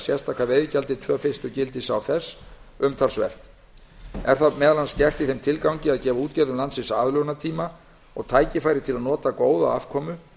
sérstaka veiðigjaldið tvö fyrstu gildisár þess umtalsvert er það meðal annars gert í þeim tilgangi að gefa útgerðum landsins aðlögunartíma og tækifæri til að nota góða afkomu